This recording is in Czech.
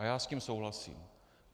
A já s tím souhlasím.